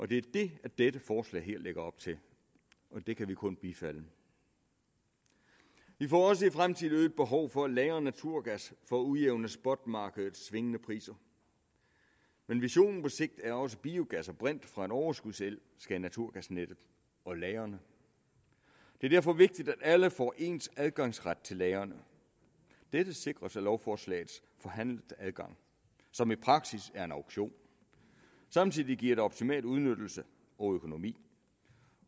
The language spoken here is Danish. det er det dette forslag lægger op til og det kan vi kun bifalde vi får også i fremtiden et øget behov for at lagre naturgas for at udjævne spotmarkedets svingende priser men visionen på sigt er også at biogas og brint fra overskudsel skal i naturgasnettet og lagrene det er derfor vigtigt at alle får ens adgangskrav til lagrene dette sikres af lovforslagets forhandlede adgang som i praksis er en auktion samtidig giver det en optimal udnyttelse og økonomi